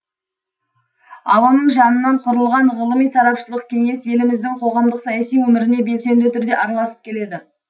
ал оның жанынан құрылған ғылыми сарапшылық кеңес еліміздің қоғамдық саяси өміріне белсенді түрде араласып келеді